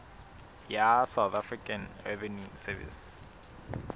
ya south african revenue service